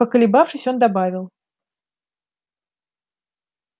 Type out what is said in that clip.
поколебавшись он добавил